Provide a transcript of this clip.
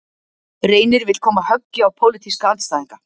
Reynir vill koma höggi á pólitíska andstæðinga